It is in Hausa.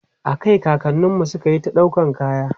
a Kai kakanninmu sukayi ta ɗaukan kaya